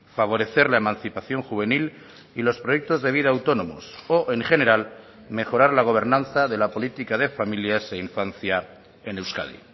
favorecer la emancipación juvenil y los proyectos de vida autónomos o en general mejorar la gobernanza de la política de familias e infancia en euskadi